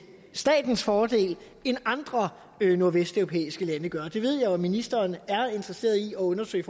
statens fordel end andre nordvesteuropæiske lande gør det ved jeg jo at ministeren er interesseret i at undersøge